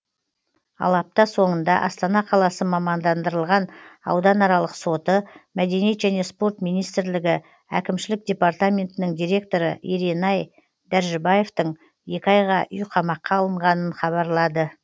ал апта соңында астана қаласы мамандандырылған ауданаралық соты мәдениет және спорт министрлігі әкімшілік департаментінің директоры еренай дәржібаевтың екі айға үйқамаққа алынғанын хабарлады